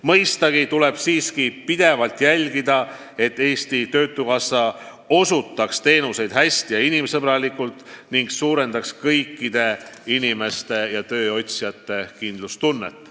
Mõistagi tuleb siiski pidevalt jälgida, et Eesti Töötukassa osutaks teenuseid hästi ja inimsõbralikult, suurendades kõikide tööotsijate kindlustunnet.